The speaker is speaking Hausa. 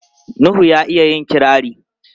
Nuhu ya iya yin kirari.